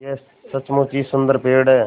यह सचमुच ही सुन्दर पेड़ है